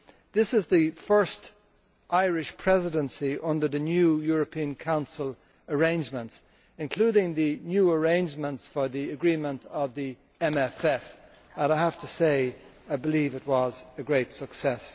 This is the first Irish Presidency under the new European Council arrangements, including the new arrangements for the agreement of the MFF, and I believe it was a great success.